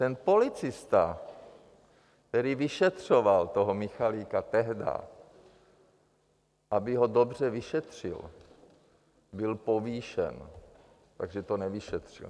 Ten policista, který vyšetřoval toho Michalika tehdá, aby ho dobře vyšetřil, byl povýšen, takže to nevyšetřil.